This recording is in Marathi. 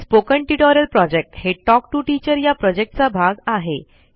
स्पोकन ट्यूटोरियल प्रॉजेक्ट हे टॉक टू टीचर या प्रॉजेक्टचा भाग आहे